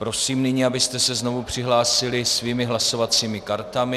Prosím nyní, abyste se znovu přihlásili svými hlasovacími kartami.